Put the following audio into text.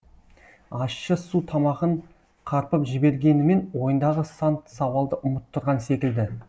ащы су тамағын қарпып жібергенімен ойындағы сан сауалды ұмыттырған секілді